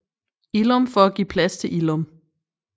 Illum for at give plads til Illum